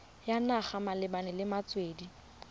ya naga malebana le metswedi